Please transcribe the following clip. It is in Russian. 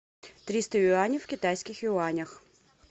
триста юаней в китайских юанях